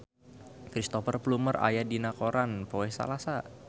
Cristhoper Plumer aya dina koran poe Salasa